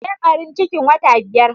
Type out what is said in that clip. Ta barin cikin wata biyar.